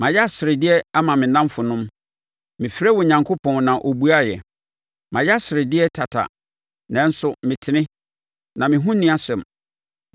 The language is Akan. “Mayɛ aseredeɛ ama me nnamfonom, mefrɛɛ Onyankopɔn na ɔbuaeɛ. Mayɛ aseredeɛ tata, nanso metene, na me ho nni asɛm.